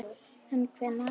En hvenær?